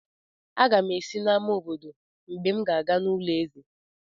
Aga m esi n'amá obodo mgbe m ga-aga n'ulo eze;